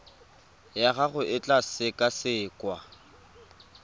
ya gago e tla sekasekwa